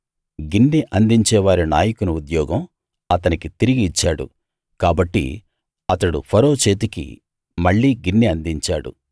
గిన్నె అందించేవారి నాయకుని ఉద్యోగం అతనికి తిరిగి ఇచ్చాడు కాబట్టి అతడు ఫరో చేతికి మళ్ళీ గిన్నె అందించాడు